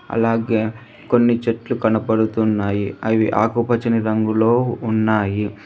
అలాగే కొన్ని చెట్లు కనబడుతున్నాయి అవి ఆకుపచ్చని రంగులో ఉన్నాయి.